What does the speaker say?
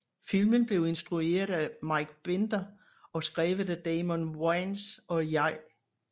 Filmen blev instrueret af Mike Binder og skrevet af Damon Wayans og J